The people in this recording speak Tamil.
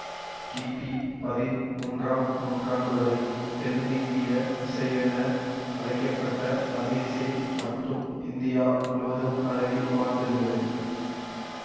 கிபி பதின் மூன்றாம் நூற்றாண்டுவரை தென்னிந்திய இசையென அழைக்க பட்ட தமிழிசை மட்டுமே இந்தியா முழுவதும் பரவி வாழ்ந்திருந்தது